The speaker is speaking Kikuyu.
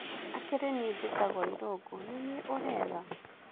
Akĩrĩ nie njĩtagwo Ĩrũngũ. Nĩ nie ũretha.